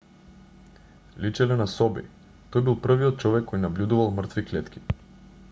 личеле на соби тој бил првиот човек кој набљудувал мртви клетки